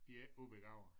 De er ikke ubegavede